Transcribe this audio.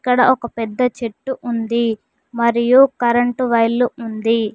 ఇక్కడ ఒక పెద్ద చెట్టు ఉంది మరియు కరెంటు వైర్లు ఉంది.